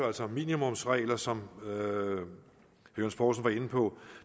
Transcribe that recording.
altså om minimumsregler som herre johs poulsen var inde på